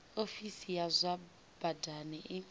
ofisi ya zwa badani i